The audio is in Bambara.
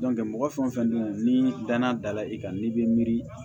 mɔgɔ fɛn o fɛn nu ni danaya dala i kan n'i bɛ miiri